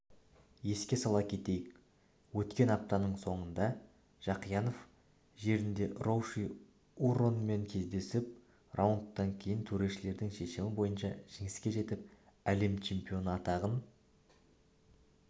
еске сала кетейік өткен аптаның соңында жақиянов жерінде роуши уорренмен кездесіп раундтан кейін төрешілердің шешімі бойынша жеңіске жетіп әлем чемпионы атағын